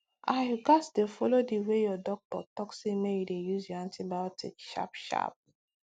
ahyou gats dey follow the way your doctor talk say make you dey use your antibiotics sharp sharp